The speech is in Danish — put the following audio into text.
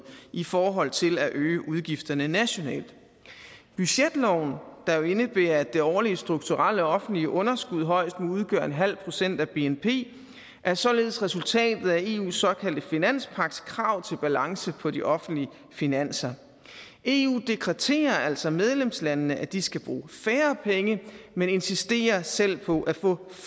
i forhold til at øge udgifterne nationalt budgetloven der jo indebærer at det årlige strukturelle offentlige underskud højst må udgøre en halv procent af bnp er således resultatet af eus såkaldte finanspagtskrav til balance på de offentlige finanser eu dekreterer altså medlemslandene at de skal bruge færre penge men insisterer selv på at få